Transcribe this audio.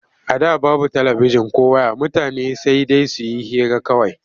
A da babu talabijin ko ways mutane sai dai su yi hira kawai.